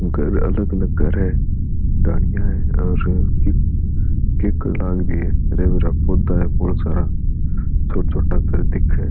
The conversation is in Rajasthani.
घर अलग अलग घर है गाड़िया है और किकर लाग री है पौधा है बहुत सारा छोटा छोटा घर दिखे है।